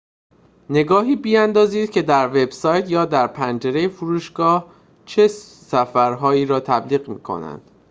نگاهی بیندازید که در وب‌سایت یا در پنجره فروشگاه چه سفرهایی را تبلیغ می‌کند